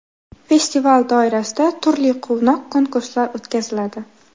Festival doirasida turli quvnoq konkurslar o‘tkaziladi.